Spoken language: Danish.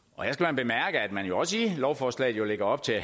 her at man jo også i lovforslaget lægger op til at